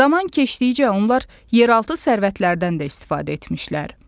Zaman keçdikcə onlar yeraltı sərvətlərdən də istifadə etmişlər.